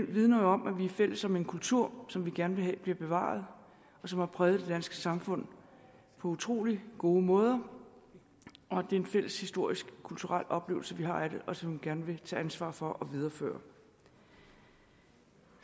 vidner om at vi er fælles om en kultur som vi gerne vil have bliver bevaret og som har præget det danske samfund på utrolig gode måder og det er en fælles historisk og kulturel oplevelse vi har af det og som vi gerne vil tage ansvar for at videreføre